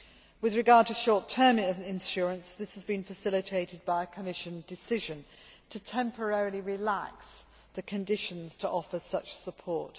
With regard to short term insurance, this has been facilitated by the Commission decision to temporarily relax the conditions to offer such support.